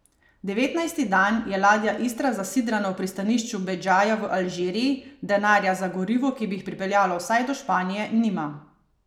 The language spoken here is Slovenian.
Devetnajsti dan je ladja Istra zasidrana v pristanišču Bedžaja v Alžiriji, denarja za gorivo, ki bi jih pripeljalo vsaj do Španije, nima.